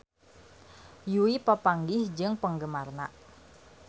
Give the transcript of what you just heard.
Yui papanggih jeung penggemarna